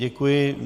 Děkuji.